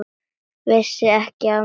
Vissi ekki af mér, lengi.